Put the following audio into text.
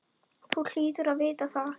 Þú hlýtur að vita það.